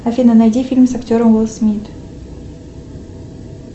афина найди фильм с актером уилл смит